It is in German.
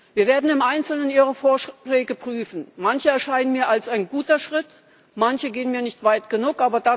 Wir werden im Einzelnen Ihre Vorschläge prüfen, manche erscheinen mir als ein guter Schritt, manche gehen mir nicht weit genug.